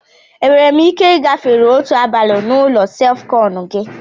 Enwere m ike ị gafere otu abalị na olu sef-kon gi?